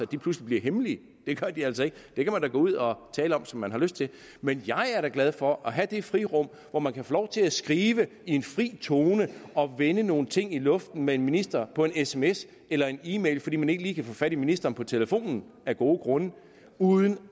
pludselig bliver hemmelige det gør de altså ikke det kan man da gå ud og tale om som man har lyst til men jeg er da glad for at have det frirum hvor man kan få lov til at skrive i en fri tone og vende nogle ting i luften med en minister på en sms eller en e mail fordi man ikke lige kan få fat i ministeren på telefonen af gode grunde uden